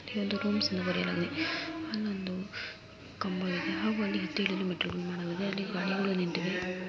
ಇಲ್ಲಿ ಒಂದು ಸಿಲ್ವರ್‌ ಅಲ್ ಒಂದ್ ಕಂಬ ಇದೆ ಹಾಗೂ ಮೆಟ್ಟಿಲುಗಳಿವೆ ಅಲ್ಲಿ ಗಾಡಿಗಳು ನಿಂತಿವೆ